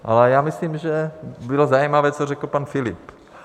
Ale já myslím, že bylo zajímavé, co řekl pan Filip.